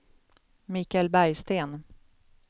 Mikael Bergsten